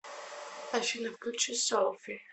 афина включи соулфи